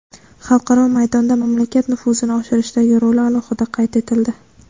xalqaro maydonda mamlakat nufuzini oshirishdagi roli alohida qayd etildi.